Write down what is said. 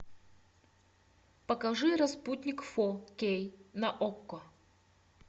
покажи распутник фо кей на окко